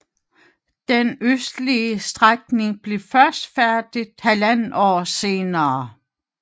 Den østlige strækning blev først færdig 1½ år senere